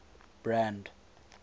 brand